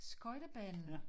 Skøjtebanen